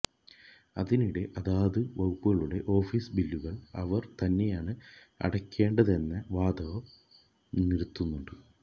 അതിനിടെ അതത് വകുപ്പുകളുടെ ഓഫീസ് ബില്ലുകള് അവര് തന്നെയാണ് അടക്കേണ്ടതെന്ന വാദവും നിരത്തുന്നുണ്ട്